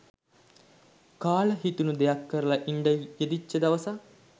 කාල හිතුණ දෙයක් කරල ඉන්ඩ යෙදිච්ච දවසක්